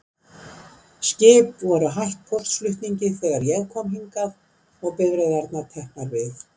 Skip voru hætt póstflutningi þegar ég kom hingað, og bifreiðirnar teknar við.